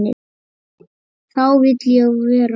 Þá vil ég vera með.